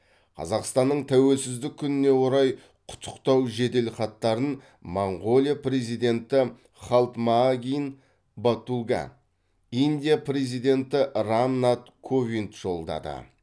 қазақстанның тәуелсіздік күніне орай құттықтау жеделхаттарын моңғолия президенті халтмаагийн баттулга индия президенті рам нат ковинд жолдады